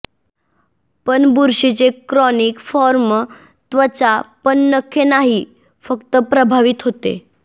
पण बुरशीचे chronic form त्वचा पण नखे नाही फक्त प्रभावित होते